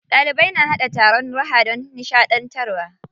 Ɗalibai na haɗa taron raha don nishaɗantarwa.